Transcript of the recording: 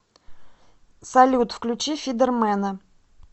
салют включи фидер мена